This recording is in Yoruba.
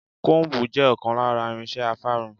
Kóómbù jẹ́ ọ̀kan lára irinse afárun.